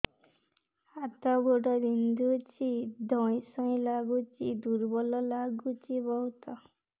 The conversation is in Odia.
ହାତ ଗୋଡ ବିନ୍ଧୁଛି ଧଇଁସଇଁ ଲାଗୁଚି ଦୁର୍ବଳ ଲାଗୁଚି ବହୁତ